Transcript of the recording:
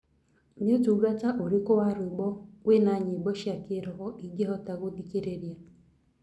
ni ũtũngata ũrĩkũ wa rwĩmbo wina nyĩmbo cĩa kiroho ingihota gũthĩkĩrĩrĩa